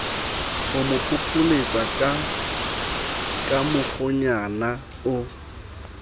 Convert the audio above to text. homo phopholetsaka ka mokgwanyana o